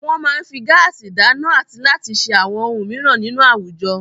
Wọ́n máa ń fi gáásì dáná àti láti ṣe àwọn ohun mìíràn nínú àwùjọ.